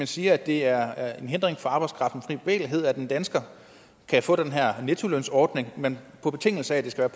siger at det er er en hindring for arbejdskraftens frie bevægelighed at en dansker kan få den her nettolønsordning men på betingelse af at det skal